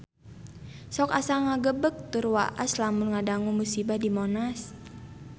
Sok asa ngagebeg tur waas lamun ngadangu musibah di Monas